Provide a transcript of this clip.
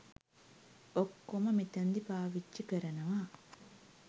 ඔක්කොම මෙතනදි පාවිච්චි කරනවා.